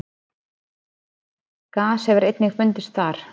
gas hefur einnig fundist þar